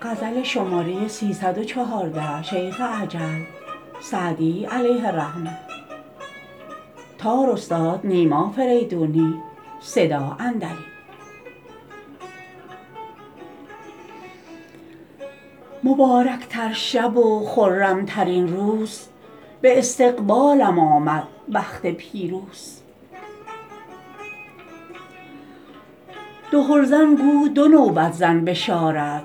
مبارک تر شب و خرم ترین روز به استقبالم آمد بخت پیروز دهل زن گو دو نوبت زن بشارت